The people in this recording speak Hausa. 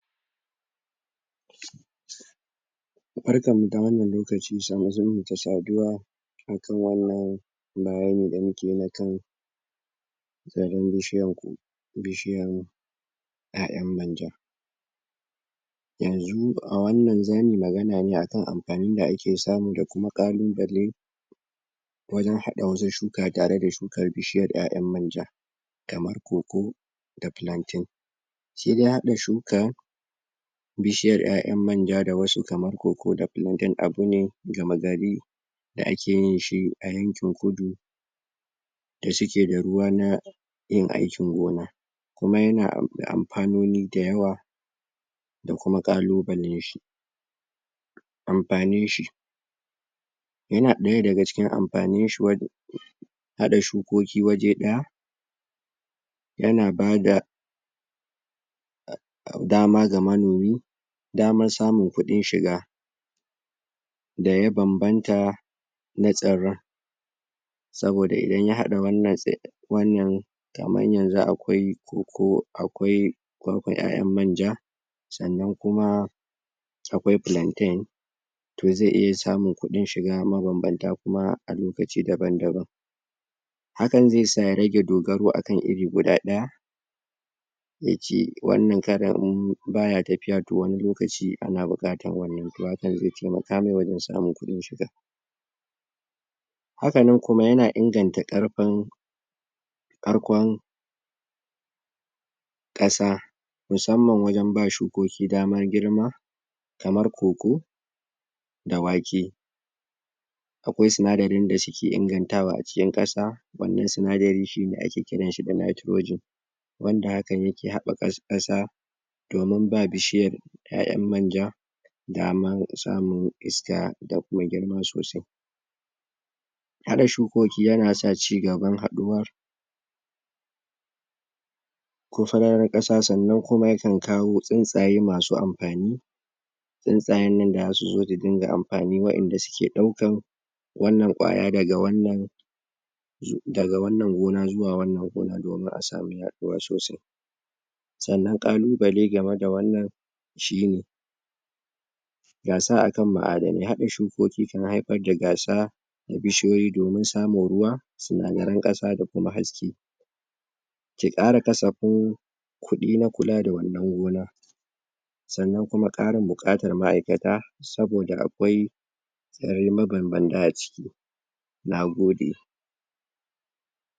Barkan mu da wannan lokaci, sannun zaman mu da saduwa akan wannan bayani da muke na kan zaren bishiyan ko, bishiyan ƴaƴan manja, yanzu a wannan zamuyi magana ne akan anfani da ake samu da kuma ƙaluɓale wajen haɗa wasu shuka tare da shukar bishiyar ƴaƴan manja kamar cocoa da plantain shi dai haɗa shuka bishiyar ƴaƴan manja da wasu kaman cocoa da plantain abu ne gamagari da ake yin shi a yankin Kudu da suke da ruwa na yin aikin gona, kuma yana anfanoni da yawa da kuma kalubalen shi, anfanin shi, yana ɗaya daga cikin anfanin shi wad haɗa shukoki waje ɗaya, yana bada a dama ga manomi damar samun kuɗin shiga da ya banbanta na tsiran, saboda idan ya haɗa wannan wannan kaman yanzu akwai cocoa akwai kwakwa ƴaƴan manja, sannan kuma akwai plantain to zai iya samun kudin shiga mabanbanta kuma a lokaci daban-daban, hakan ze sa ya rage dogaro akan iri guda ɗaya, ya ce wannan karon in baya tafiya to wani lokaci ana buƙatan wannan to hakan zai temaka mai wajen samun kudin shiga, hakanan kuma yana inganta ƙarfin karkon ƙasa musamman wajen ba shukoki dama kamar cocoa da wake, akwai sinadarin da suke ingantawa a cikin ƙasa, wannan sinadarin shine ake kiran shi da nitrogen wanda hakan yake hab haɓaka ƙasa domin ba bishiyar ƴaƴan manja daman samun iska da kuma girma sosai, haɗa shukoki yana sa cigaban haɗuwar ko farar ƙasa sannan kuma yakan kawo tsuntsaye masu anfani, tsuntsayen nan da zasu zo su dinga anfani wayanda suke ɗaukan wannan ƙwaya daga wannan, daga wannan gona zuwa wannan gona domin a samu yaduwa sosai, sannan kaluɓale game da wannan shi ne, gasa akan ma'adanai haɗa shukoki kan haifar da gasa da bishiyoyi domin samun ruwa, sinadaran ƙasa da kuma haske, ke ƙara kasafin kuɗi na kula da wannan gona sannan kuma ƙarin buƙatan ma'aikata saboda akwai zare mabanbanta a ciki. Nagode.